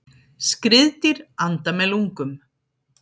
Skriðdýr anda með lungum.